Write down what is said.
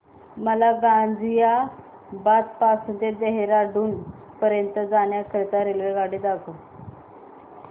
मला गाझियाबाद पासून ते देहराडून पर्यंत जाण्या करीता रेल्वेगाडी दाखवा